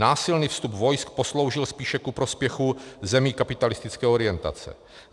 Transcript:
Násilný vstup vojsk posloužil spíše ku prospěchu zemí kapitalistické orientace.